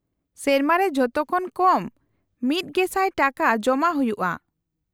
-ᱥᱮᱨᱢᱟ ᱨᱮ ᱡᱚᱛᱚᱠᱷᱚᱱ ᱠᱚᱢ ᱑᱐᱐᱐ ᱴᱟᱠᱟ ᱡᱚᱢᱟ ᱦᱩᱭᱩᱜᱼᱟ ᱾